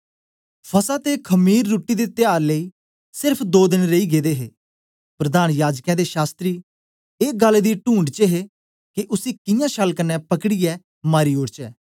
फसह ते खमीर रुट्टी दे त्यार लेई सेर्फ दो देन रेई गेदे हे प्रधान याजकें ते शास्त्री एस गल्ल दी टूंढ च हे के उसी कियां छल कन्ने पकड़ीऐ मारी ओड़चै